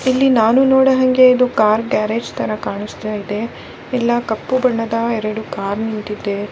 ಇಲ್ಲಿ ನಾನು ನಡೋಹಂಗೆ ಕಾರ್ ಗ್ಯಾರೇಜ್ ತರ ಕಾಣಿಸ್ತಾಯಿದೆ ಎಲ್ಲ ಕಪ್ಪು ಬಣ್ಣದ ಎರಡು ಕಾರ್ ನಿಂತಿದೆ.